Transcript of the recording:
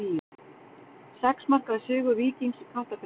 Sex marka sigur Víkings í Kaplakrika